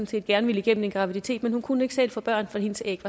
set gerne ville igennem en graviditet men hun kunne ikke selv få børn fordi hendes æg